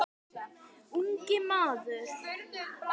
Ungi maður